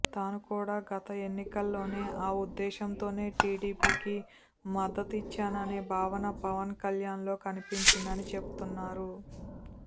తాను కూడా గత ఎన్నికల్లోనే ఆ ఉద్దేశ్యంతోనే టీడీపీకి మద్దతిచ్చాననే భావన పవన్ కళ్యాణ్లో కనిపించిందని చెబుతున్నారు